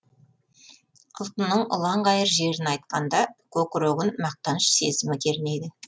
ұлтының ұланғайыр жерін айтқанда көкірегін мақтаныш сезімі кернейді